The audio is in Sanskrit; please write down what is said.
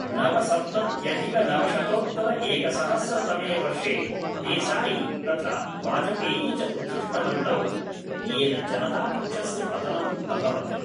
नवसप्तत्यधिकनवशतोत्तरएकसहस्रतमे वर्षे देसायी तथा वाजपेयी च उत्सृष्टवन्तौ येन जनता पक्षस्य पतनम् अभवत्